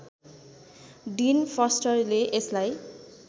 डिन फस्टरले यसलाई